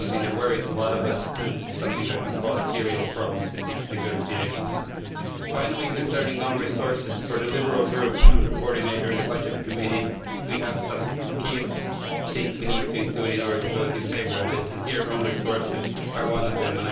This is something that worries a lot of us, and it is something that could cause serious problems in the negotiations. Finally, concerning own resources, speaking for the Liberal Group and I am its coordinator in the Committee on Budgets we have some key things we need to be included in order to vote in favour of this, and own resources is one of them.